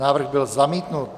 Návrh byl zamítnut.